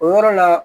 O yɔrɔ la